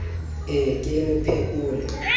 e ke e mo phekole